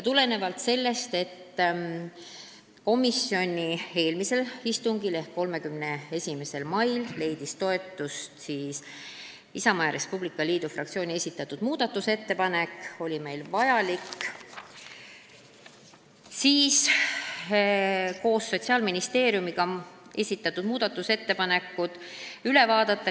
Tulenevalt sellest, et komisjoni eelmisel istungil ehk 31. mail leidis toetust Isamaa ja Res Publica Liidu fraktsiooni esitatud muudatusettepanek, oli meil vaja koos Sotsiaalministeeriumiga esitatud muudatusettepanekud üle vaadata.